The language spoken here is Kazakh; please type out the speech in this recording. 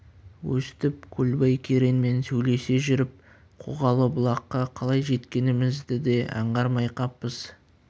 өстіп көлбай кереңмен сөйлесе жүріп қоғалы бұлаққа қалай жеткенімізді де аңғармай қаппыз